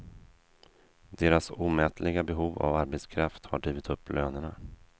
Deras omätliga behov av arbetskraft har drivit upp lönerna.